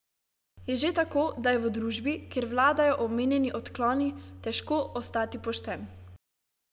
Je že tako, da je v družbi, kjer vladajo omenjeni odkloni, težko ostati pošten.